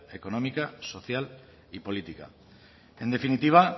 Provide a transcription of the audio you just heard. económica social y política en definitiva